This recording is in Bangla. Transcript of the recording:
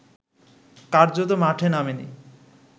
কার্যত মাঠে নামেনি